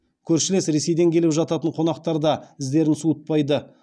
көршілес ресейден келіп жататын қонақтар да іздерін суытпайды